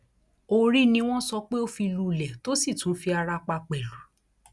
orí ni wọn sọ pé ó fi lulẹ tó sì tún fi ara pa pẹlú